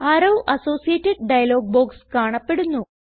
arrow associated dialog box കാണപ്പെടുന്നു